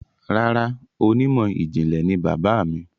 Rárá, onímọ̀ ìjìnlẹ̀ ni bàbáà mi.